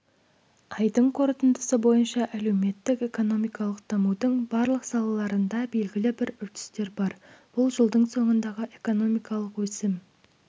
айдың қорытындысы бойынша әлеуметтік-экономикалық дамудың барлық салаларында белгілі бір үрдістер бар бұл жылдың соңындағы экономикалық өсім